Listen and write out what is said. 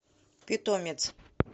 питомец